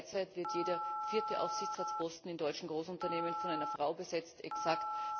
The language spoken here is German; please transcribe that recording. Derzeit wird jeder vierte Aufsichtsratsposten in deutschen Großunternehmen von einer Frau besetzt exakt